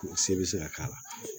Se bɛ se ka k'a la